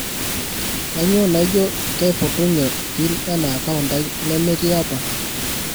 kainyoo naijo keipotunye pin ena account aai nemetii apa